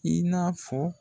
I n'a fɔ